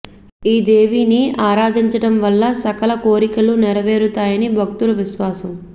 ఈ దేవిని ఆరాధించడం వల్ల సకల కోరికలు నెరవేరుతాయని భక్తుల విశ్వాసం